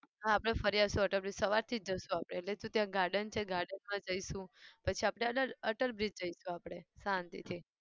હા આપણે ફરી આવીશું અટલ bridge સવારથી જ જઈશું આપણે એટલે શું ત્યાં garden છે garden માં જઈશું પછી આપણે અટલ અટલ bridge જઈશું આપણે શાંતિથી.